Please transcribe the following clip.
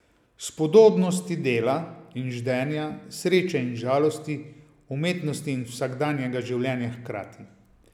Spodobnosti dela in ždenja, sreče in žalosti, umetnosti in vsakdanjega življenja hkrati.